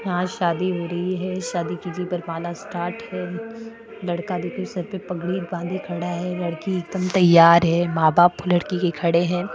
यहा शादी हो रही है शादी पर पाना स्टार्ट है लड़का देखो सर पर पगडी बांधे खड़ा है लड़की एकदम तैयार है मा बाप लड़की के खड़े हैं।